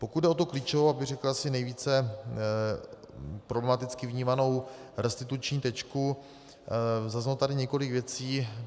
Pokud jde o tu klíčovou, abych řekl asi nejvíce problematicky vnímanou restituční tečku, zaznělo tady několik věcí.